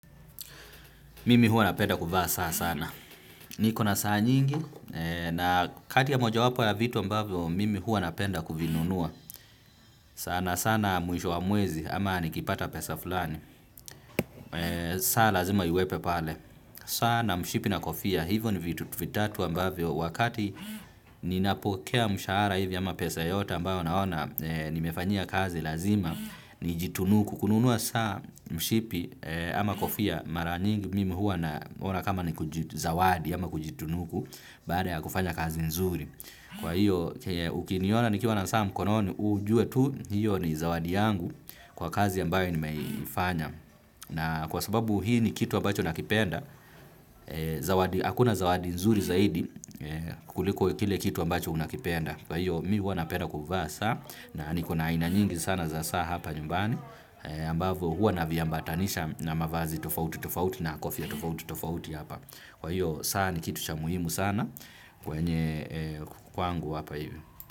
Mimi hua napenda kuvaa saa sana. Niko na saa nyingi na kati ya moja wapo ya vitu ambavyo mimi huwa napenda kuvinunua. Sana sana mwisho wa mwezi ama nikipata pesa fulani. Saa lazima iwepo pale. Saa na mshipi na kofia hivyo ni vitu vitatu ambavyo wakati ninapokea mshahara hivi ama pesa yoyote ambayo naona nimefanyia kazi lazima nijitunuku. Kununua saa, mshipi ama kofia mara nyingi mimi huwa naona kama ni kujizawadi ama kujitunuku baada ya kufanya kazi nzuri. Kwa hiyo, ukiniona nikiwa na saa mkononi ujue tu, hio ni zawadi yangu kwa kazi ambayo nimeifanya. Na kwa sababu hii ni kitu ambacho nakipenda, hakuna zawadi nzuri zaidi kuliko kile kitu ambacho unakipenda. Kwa hio, mimi huwa napenda kufasa na nikuna ina nyingi sana za saa hapa nyumbani, ambavo hua na viambatanisha na mavazi tofauti tofauti na kofia tofauti tofauti hapa. Kwa hio saa ni kitu cha muhimu sana kwenye kwangu hapa hivi.